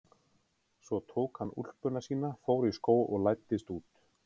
Svo tók hann úlpuna sína, fór í skó og læddist út.